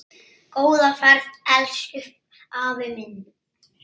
Góða ferð, elsku afi minn.